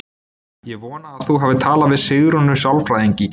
Ég vona að þú hafir talað við Sigrúnu sálfræðing í gær.